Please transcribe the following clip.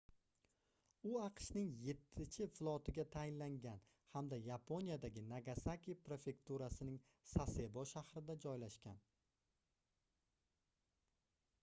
u aqshning yettichi flotiga tayinlangan hamda yaponiyadagi nagasaki prefekturasining sasebo shahrida joylashgan